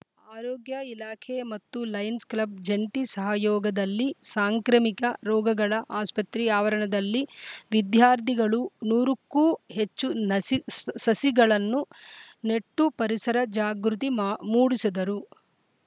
ಆರೋಗ್ಯ ಇಲಾಖೆ ಮತ್ತು ಲಯನ್ಸ‌ ಕ್ಲಬ್‌ ಜಂಟಿ ಸಹಯೋಗದಲ್ಲಿ ಸಾಂಕ್ರಾಮಿಕ ರೋಗಗಳ ಆಸ್ಪತ್ರೆ ಆವರಣದಲ್ಲಿ ವಿದ್ಯಾರ್ಧಿ ಗಳು ನೂರು ಕ್ಕೂ ಹೆಚ್ಚು ನಸಿ ಸಸಿಗಳನ್ನು ನೆಟ್ಟು ಪರಿಸರ ಜಾಗೃತಿ ಮಾ ಮೂಡಿಸಿದರು